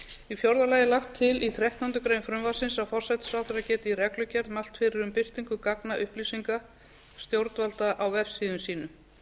í fjórða lagi er lagt til í þrettándu greinar frumvarpsins að forsætisráðherra geti í reglugerð mælt fyrir um birtingu gagna upplýsinga stjórnvalda á vefsíðum sínum